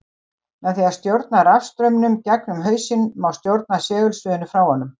Með því að stjórna rafstraumnum gegnum hausinn má stjórna segulsviðinu frá honum.